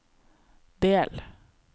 del